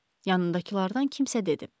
Yanındakılardan kimsə dedi.